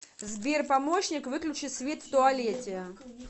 сбер помощник выключи свет в туалете